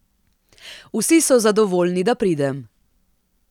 Vsi so zadovoljni, da pridem.